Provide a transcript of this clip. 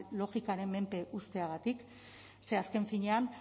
logikaren menpe uzteagatik ze azken finean